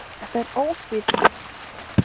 Þetta er ósvífni.